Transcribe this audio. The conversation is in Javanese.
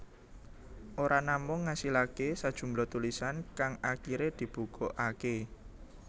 Ora namung ngasilaké sajumlah tulisan kang akiré dibukukaké